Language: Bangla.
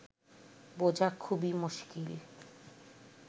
বোঝা খুবই মুশকিল